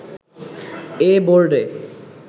এ বোর্ডে